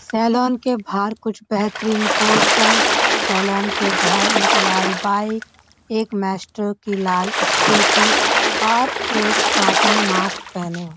Salon के बाहर कुछ बेहतरीन पोस्टर सैलून के बाहर एक लाल बाइक एक माइस्ट्रो की लाल स्कूटी और एक आदमी मास्क पहने हुए।